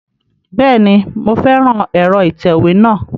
Bẹ́ẹ̀ni, mo fẹ́ran ẹ̀rọ ìtẹ̀wé náà